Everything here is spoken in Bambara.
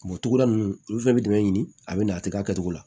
togoda ninnu olu fɛnɛ bɛ dɛmɛ ɲini a bɛ na a tɛ kɛ a kɛcogo la